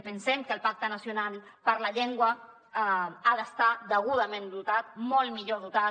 pensem que el pacte nacional per la llengua ha d’estar degudament dotat molt millor dotat